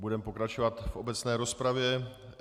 Budeme pokračovat v obecné rozpravě.